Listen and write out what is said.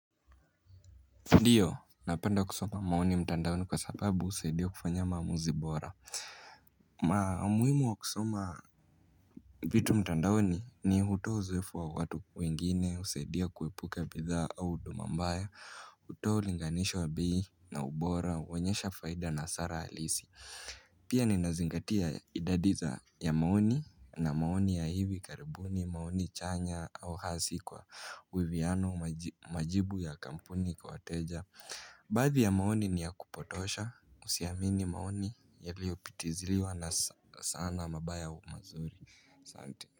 Ndio, napenda kusoma maoni mtandaoni kwa sababu husaidia kufanya maamuzi bora na umuhimu wa kusoma vitu mtandaoni, ni hutoa uzoeefu wa watu wengine, husaidia kuepuka bidhaa au huduma mbaya hutoa ulinganisho bei na ubora, huonyesha faida na hasara halisi pia ninazingatia idadi ya maoni, na maoni ya hivi karibuni, maoni chanya, au hasi kwa uiviano majibu ya kampuni kwa wateja Baadhi ya maoni ni ya kupotosha, usiamini maoni yaliyopitiziriwa na sana mabaya au mazuri, asante.